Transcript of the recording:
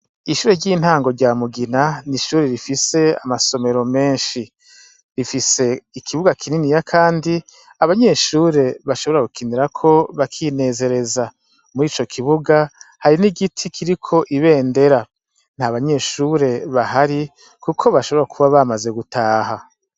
Ishure ry'intango rya mugina n'ishure rifise amasomero menshi rifise ikibuga kinini ya, kandi abanyeshure bashobora gukinirako bakinezereza muri ico kibuga hari n' igiti kiri ko ibendera nta banyeshure bahari, kuko bashobora kuba bamaze gutaha.